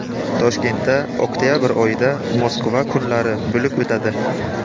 Toshkentda oktabr oyida Moskva kunlari bo‘lib o‘tadi.